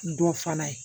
Dɔ fana ye